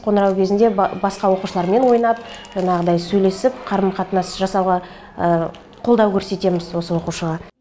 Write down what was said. қоңырау кезінде басқа оқушылармен ойнап жанағыдай сөйлесіп қарым қатынас жасауға қолдау көрсетеміз осы оқушыға